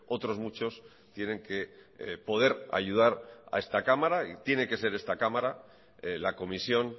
otros muchos tienen que poder ayudar a esta cámara y tiene que ser esta cámara la comisión